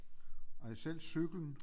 Nej selv cyklen